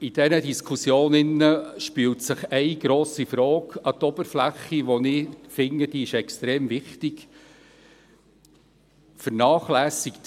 In dieser Diskussion spült sich eine grosse Frage an die Oberfläche, von der ich finde, dass sie extrem wichtig ist: